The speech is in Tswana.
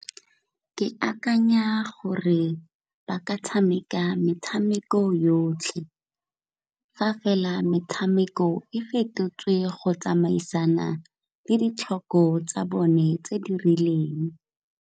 Ke akanya gore ba ka tshameka metshameko yotlhe fa fela metshameko e fetotswe go tsamaisana le ditlhoko tsa bone tse di rileng.